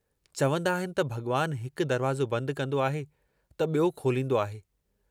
चवंदा आहिनि त भॻवानु हिकु दरवाज़ो बंदि कंदो आहे त ॿियो खोलींदो आहे।